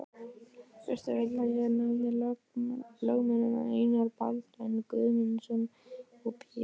Fyrsta vil ég nefna lögmennina Einar Baldvin Guðmundsson og Pétur